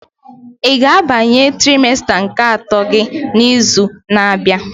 Ị ga-abanye trimesta nke atọ gị n'izu na-abịa?